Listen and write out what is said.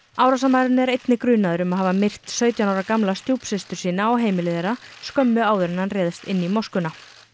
árásarmaðurinn er einnig grunaður um að hafa myrt sautján ára gamla stjúpsystur sína á heimili þeirra skömmu áður en hann réðst inn í moskuna